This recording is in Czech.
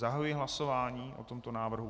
Zahajuji hlasování o tomto návrhu.